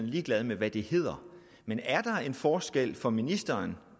ligeglad med hvad det hedder men er der en forskel for ministeren